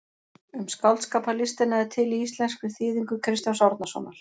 Um skáldskaparlistina er til í íslenskri þýðingu Kristjáns Árnasonar.